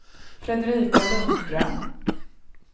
Fredrika Lundström